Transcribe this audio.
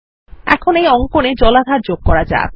এখন এই অঙ্কনে জলাধার যোগ করা যাক